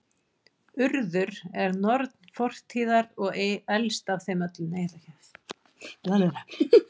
Urður er norn fortíðar og elst af þeim öllum.